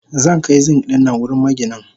Zankai Zink dinnan wurin maginin.